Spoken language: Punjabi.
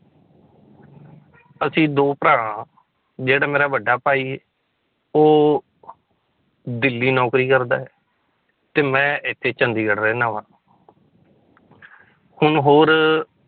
ਅਸੀਂ ਦੋ ਭਰਾ ਜਿਹੜਾ ਮੇਰਾ ਵੱਡਾ ਭਾਈ ਉਹ ਦਿੱਲੀ ਨੌਕਰੀ ਕਰਦਾ ਹੈ, ਤੇ ਮੈਂ ਇੱਥੇ ਚੰਡੀਗੜ੍ਹ ਰਹਿਨਾ ਵਾਂ ਹੁਣ ਹੋਰ